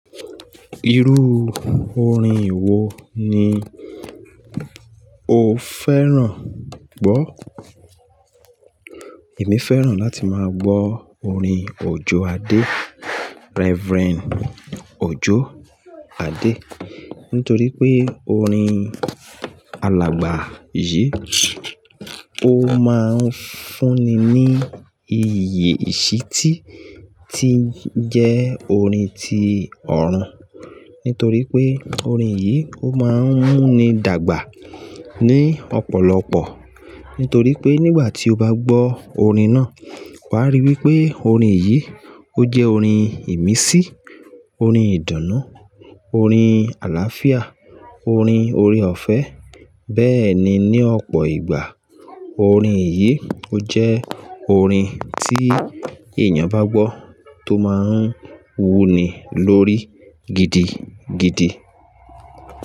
Irú orin wo ni o fẹ́ràn gbọ́? Èmi fẹ́ràn láti máa gbọ́ orin Òjó Adé, Reverend Òjó Adé, nítorí pé orin alàgbà yìí, ó máa ń fún mi ní ìyè ìṣítí tí jẹ́ orin tí ọ̀run. Nítorí pé orin yìí ó máa ń mú mi dàgbà ní ọ̀pọ̀lọpọ̀. Nítorí pé nígbà tí o bá gbọ́ orin náà, wà á rí i wí pé orin yìí ó jẹ́ orin ìmísí, orin ìdunnu, orin àlàáfíà, orin ore-ọ̀fẹ́. Bẹ́ẹ̀ ni ní ọ̀pọ̀ ìgbà, orin yìí ó jẹ́ orin tí èèyàn bá gbọ́ tó máa ń wú ni lórí gidigidi.